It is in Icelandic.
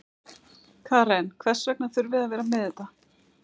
Karen: Og hvers vegna þurfið þið að vera með þetta?